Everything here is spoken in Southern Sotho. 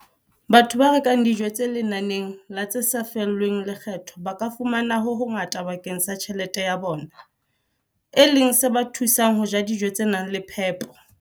Batho ba rekang dijo tse lenaneng la tse sa lefellweng lekgetho ba ka fumana ho hongata bakeng sa tjhelete ya bona, e leng se ba thusang ho ja dijo tse nang le phepo.